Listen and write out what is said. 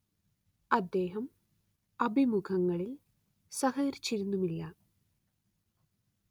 അദ്ദേഹം അഭിമുഖങ്ങളിൽ സഹകരിച്ചിരുന്നുമില്ല